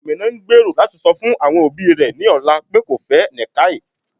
Amina n gbèró lati sọ fun awọn obì rẹ ní ọlà pe kò fẹ́ Nikkai.